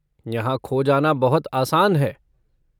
यहाँ खो जाना बहुत आसान है।